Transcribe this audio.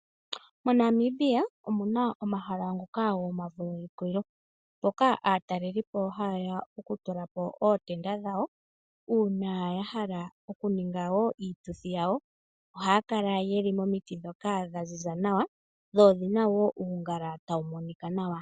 MoNamibia omuna omahala ngoka gomavulukukilo mpoka aatalelipo haye ya okutula po ootenda dhawo, uunaya hala okuninga wo iituthi yawo ohaya kala yeli momiti dhoka dha ziza nawa, dho odhina wo uungala tawu monika nawa.